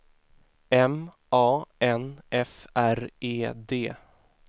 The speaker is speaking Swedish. M A N F R E D